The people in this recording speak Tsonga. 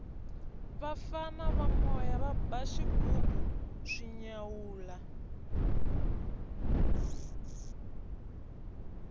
vafana va moya va ba xighubu swi nyawula